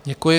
Děkuji.